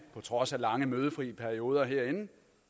på trods af lange mødefri perioder herinde